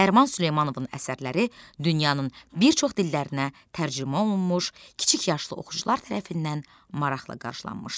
Nəriman Süleymanovun əsərləri dünyanın bir çox dillərinə tərcümə olunmuş, kiçik yaşlı oxucular tərəfindən maraqla qarşılanmışdı.